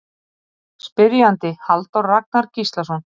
Spyrjandi Halldór Ragnar Gíslason